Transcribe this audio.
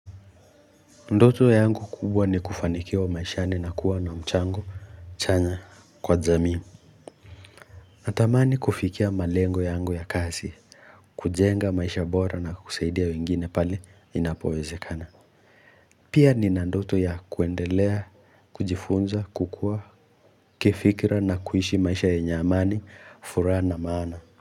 Ndoto yangu kubwa ni kufanikiwa maishani na kuwa na mchango chanya kwa jamii Natamani kufikia malengo yangu ya kazi, kujenga maisha bora na kusaidia wengine pale inapowezekana. Pia nina ndoto ya kuendelea, kujifunza, kukua kifikra na kuishi maisha yenye amani, furaha na maana.